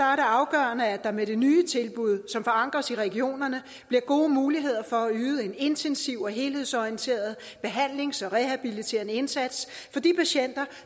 afgørende at der med det nye tilbud som forankres i regionerne bliver gode muligheder for at yde en intensiv og helhedsorienteret behandlings og rehabiliterende indsats for de patienter